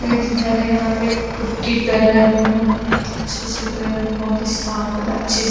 एक घर है यहाँ पे पुट्ठी कर रहै है बहोत अच्छे से कर रहै है बहोत ही साफ कर रहै है अच्छे से--